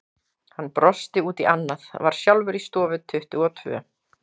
Hann brosti út í annað, var sjálfur í stofu tuttugu og tvö.